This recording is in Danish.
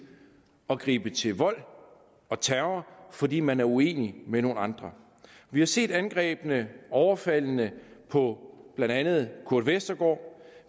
at gribe til vold og terror fordi man er uenig med nogle andre vi har set angrebene overfaldene på blandt andet kurt westergaard